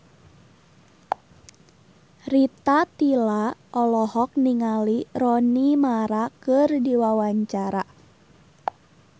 Rita Tila olohok ningali Rooney Mara keur diwawancara